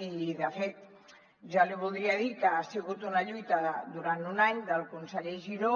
i de fet jo li voldria dir que ha sigut una lluita durant un any del conseller giró